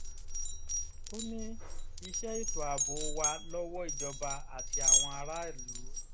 ó ní iṣẹ́ ètò ààbò wa lọ́wọ́ ìjọba àti àwọn aráàlú